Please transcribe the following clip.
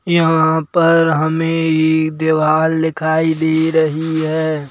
यहाँ पर हमें ई देवाल दिखाई दे रही है।